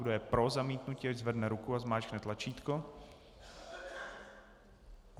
Kdo je pro zamítnutí, ať zvedne ruku a zmáčkne tlačítko.